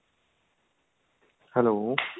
hello